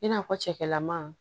I n'a fɔ cɛkɛlɛma